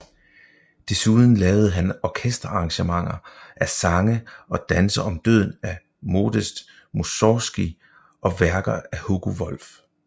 Desuden lavede han orkesterarrangementer af Sange og danse om døden af Modest Mussorgskij og værker af Hugo Wolf